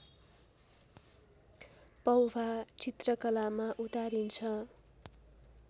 पौभा चित्रकलामा उतारिन्छ